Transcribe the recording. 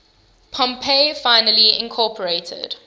pompey finally incorporated